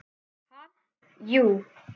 Ha, jú.